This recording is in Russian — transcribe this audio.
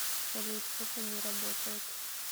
салют это не работает